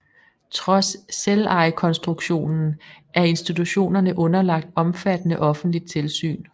Trods selvejekonstruktionen er institutionerne underlagt omfattende offentligt tilsyn